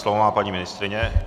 Slovo má paní ministryně.